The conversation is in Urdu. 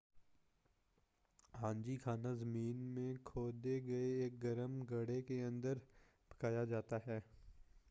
ہانجی کھانا زمین میں کھودے گئے ایک گرم گڑھے کے اندر پکایا جاتا ہے